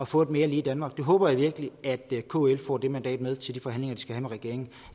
få et mere lige danmark jeg håber virkelig at kl får det mandat med til de forhandlinger de skal have med regeringen